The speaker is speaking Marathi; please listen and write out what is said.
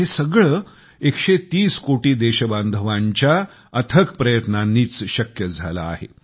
हे सगळं 130 कोटी देशबांधवांच्या अथक प्रयत्नांनीच शक्य झालं आहे